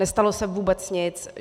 Nestalo se vůbec nic.